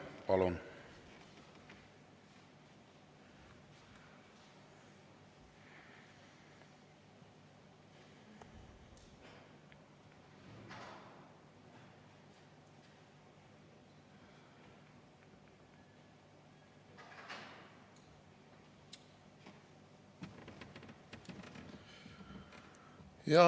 Palun!